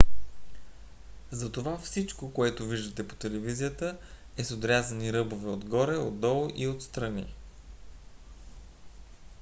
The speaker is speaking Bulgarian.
затова всичко което виждате по телевизията е с отрязани ръбове отгоре отдолу и отстрани